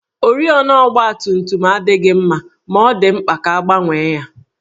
Oriọna ọgbatumtum adịghị mma ma ọ dị mkpa ka a gbanwee ya